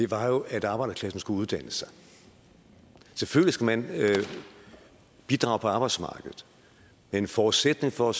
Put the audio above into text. var at arbejderklassen skulle uddanne sig selvfølgelig skal man bidrage på arbejdsmarkedet men en forudsætning for